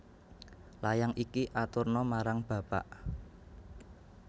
Layang iki aturna marang bapak